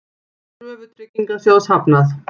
Kröfu Tryggingasjóðs hafnað